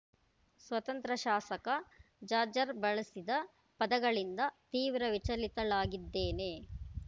ಸ್ವತಂತ್ರ ಶಾಸಕ ಜಾಜರ್ ಬಳಸಿದ ಪದಗಳಿಂದ ತೀವ್ರ ವಿಚಲಿತಳಾಗಿದ್ದೇನೆ